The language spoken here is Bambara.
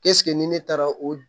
ni ne taara o